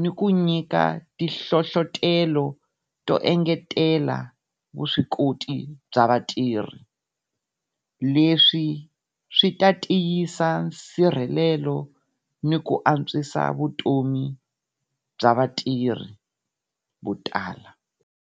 ni ku nyika ti hlohlotelo to engetela vuswikoti bya vatirhi. Leswi swi ta tiyisisa nsirhelelo ni ku antswisa vutomi bya vatirhi vo tala.